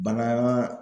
Bagan